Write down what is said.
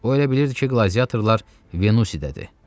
O elə bilirdi ki, qladiatorlar Venüsidədir.